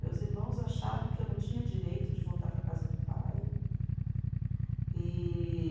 Meus irmãos achavam que eu não tinha direito de voltar para a casa do pai. E